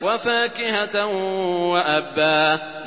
وَفَاكِهَةً وَأَبًّا